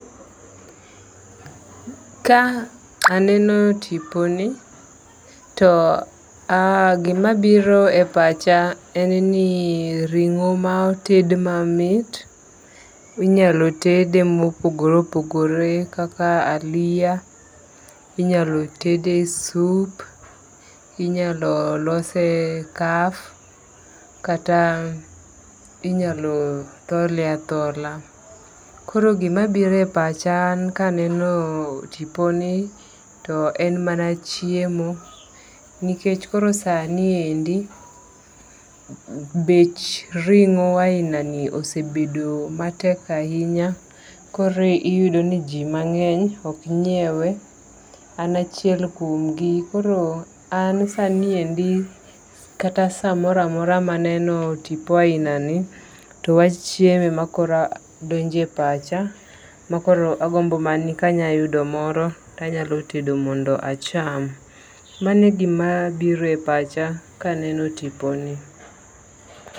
Ka aneno tipo ni, to gima biro e pacha en ni ring'o ma oted mamit. Inyalo tede mopogore opogore kaka aliya. Inyalo tede sup. Inyalo lose kaf. Kata inyalo thole athola. Koro gima biro e pacha an kaneno tiponi to en mana chiemo nikech koro sani endi bech ring'o aina ni osebedo matek ahinya. Koro iyudo ni ji mang'eny ok nyiewe. An chiel kuom gi. An sani endi kata samoro amora maneno tipo aina ni to wa chiemo ema koro donjo e pacha makoro agombo mana ni ka anyayudo moro anyatedo mondo acham. Mano e gima biro e pacha kaneno tipo ni.